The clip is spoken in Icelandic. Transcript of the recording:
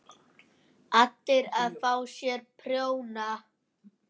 ALLIR AÐ FÁ SÉR PRJÓNA!